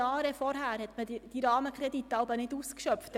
Jahre vorher wurden diese Rahmenkredite jeweils nicht ausgeschöpft.